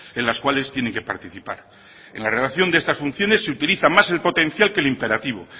en las cuales tienen que participar en la redacción de estas funciones se utiliza más el potencial que el imperativo